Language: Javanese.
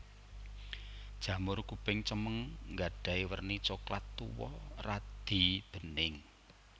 Jamur kuping cemeng nggadhahi werni coklat tuwa radi bening